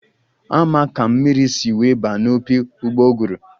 A ma ka mmiri si wee ba n'opi ụgbọguru?